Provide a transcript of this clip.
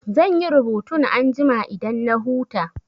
Zan yi rubutun anjima idan na huta.